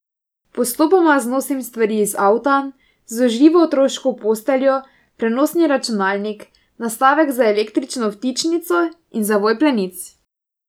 Postopoma znosim stvari iz avta, zložljivo otroško posteljo, prenosni računalnik, nastavek za električno vtičnico in zavoj plenic.